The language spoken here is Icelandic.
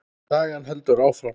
Sagan heldur áfram.